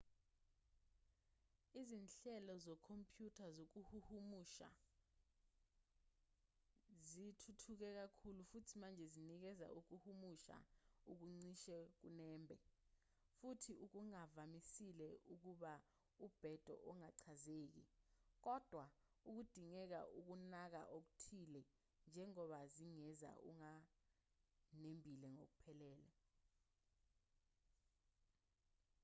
izinhlelo zekhompyutha zokuhumusha zithuthuke kakhulu futhi manje zinikeza ukuhumusha okucishe kunembe futhi okungavamisile ukuba ubhedo ongachazeki kodwa kudingeka ukunaka okuthile njengoba zingenza okunganembile ngokuphelele